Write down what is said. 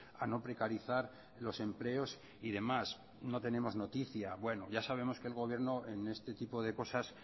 a no precarizar los empleos y demás no tenemos noticia bueno ya sabemos que el gobierno en este tipo de cosas